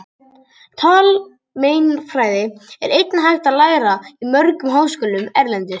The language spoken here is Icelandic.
Talmeinafræði er einnig hægt að læra í mörgum háskólum erlendis.